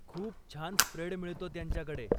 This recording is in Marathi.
खूप छान स्प्रेड मिळतो त्यांच्याकडे.